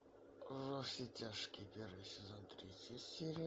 во все тяжкие первый сезон третья серия